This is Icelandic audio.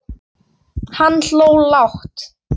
Hann hló lágt.